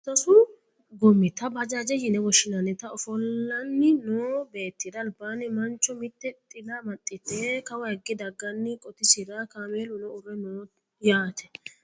Sasu goommita bajaajete yine woshshinannita oofanni noo beettira albaanni mancho mitte xila amaxxite kawaagge dagganna qotisira kameeluno uurre no yaate